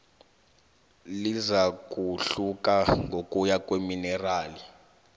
lizakuhluka ngokuya kweminerali